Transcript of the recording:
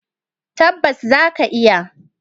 Tabbas za ka iya.